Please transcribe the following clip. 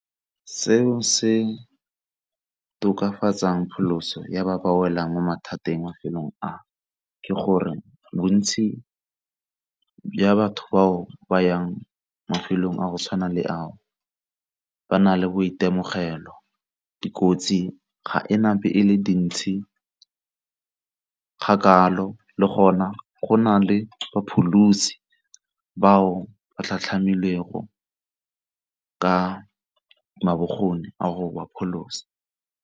Seo se tokafatsang pholoso ya ba ba welang mo mathateng mafelong ao, ke gore bontsi bja batho bao ba yang mafelong a go tshwana le ao ba na le boitemogelo dikotsi ga ena be e le dintsi ga kalo le gona go na le bapholosi bao ba tlhatlhamile ka a go ba pholosa.